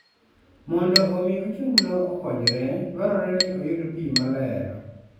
Mondo omi ochunglo okonyre, dwarore ni oyud pi maler.